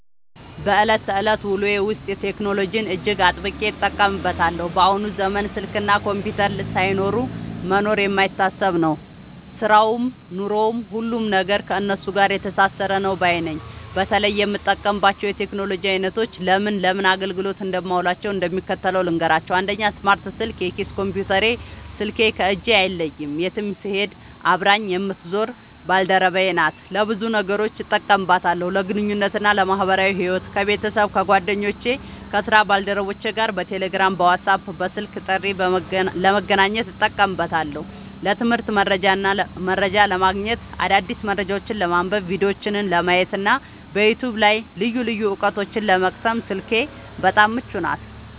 በዕለት ተዕለት ውሎዬ ውስጥ ቴክኖሎጂን እጅግ አጥብቄ እጠቀምበታለሁ። በአሁኑ ዘመን ስልክና ኮምፒውተር ሳይኖሩ መኖር የማይታሰብ ነው፤ ሥራውም ኑሮውም፣ ሁሉም ነገር ከእነሱ ጋር የተሳሰረ ነው ባይ ነኝ። በተለይ የምጠቀምባቸውን የቴክኖሎጂ ዓይነቶችና ለምን ለምን አገልግሎት እንደማውላቸው እንደሚከተለው ልንገራችሁ፦ 1. ስማርት ስልክ (የኪስ ኮምፒውተሬ) ስልክ ከእጄ አይለይም፤ የትም ስሄድ አብራኝ የምትዞር ባልደረባዬ ናት። ለብዙ ነገሮች እጠቀምባታለሁ፦ ለግንኙነትና ለማኅበራዊ ሕይወት፦ ከቤተሰብ፣ ከጓደኞቼና ከሥራ ባልደረቦቼ ጋር በቴሌግራም፣ በዋትስአፕና በስልክ ጥሪ ለመገናኘት እጠቀምበታለሁ። ለትምህርትና መረጃ ለማግኘት፦ አዳዲስ መረጃዎችን ለማንበብ፣ ቪዲዮዎችን ለማየትና በዩቲዩብ ላይ ልዩ ልዩ ዕውቀቶችን ለመቅሰም ስልኬ በጣም ምቹ ናት።